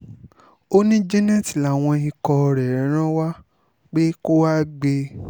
ó ní janet láwọn ikọ̀ rẹ̀ ràn wá pé kó wàá gbé e